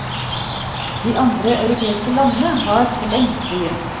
De andre europeiske landene har forlengst begynt.